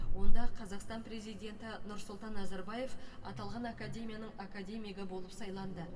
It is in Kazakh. онда қазақстан президенті нұрсұлтан назарбаев аталған академияның академигі болып сайланды